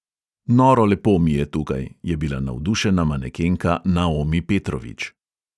Noro lepo mi je tukaj, je bila navdušena manekenka naomi petrovič.